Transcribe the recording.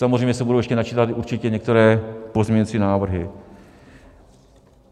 Samozřejmě se budou ještě načítat určitě některé pozměňovací návrhy.